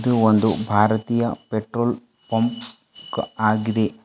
ಇದು ಒಂದು ಭಾರತೀಯ ಪೆಟ್ರೋಲ್ ಬಂಕ್ ಆಗಿದೆ.